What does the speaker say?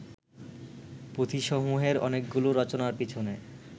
পুঁথিসমূহের অনেকগুলো রচনার পিছনে